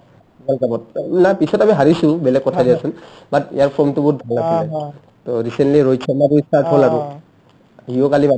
world cup না পিছত আমি হাৰিছো বেলেগ কথা দিয়াচোন but ইয়াৰ form টো বহুত আছিলে to recently Rohit Sharma out হ'ল আৰু